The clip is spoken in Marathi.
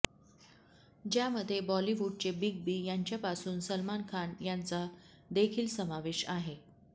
ज्यामध्ये बॉलिवूडचे बीग बी यांच्यापासून सलमान खान याचा देखील समावेश आहे